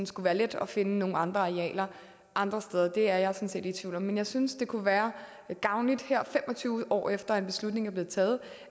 skulle være let at finde nogle andre arealer andre steder det er jeg sådan set i tvivl om men jeg synes det kunne være gavnligt her fem og tyve år efter at en beslutning er blevet taget